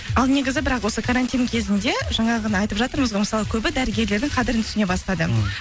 ал негізі бірақ осы карантин кезінде жаңағыны айтып жатырмыз ғой мысалы көбі дәрігерлердің қадірін түсіне бастады мхм